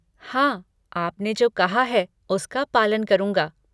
हाँ, आपने जो कहा है, उसका पालन करूंगा।